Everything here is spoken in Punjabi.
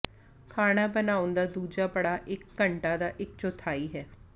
ਖਾਣਾ ਬਣਾਉਣ ਦਾ ਦੂਜਾ ਪੜਾਅ ਇਕ ਘੰਟਾ ਦਾ ਇਕ ਚੌਥਾਈ ਹੈ